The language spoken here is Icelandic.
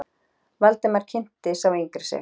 Valdimar kynnti sá yngri sig.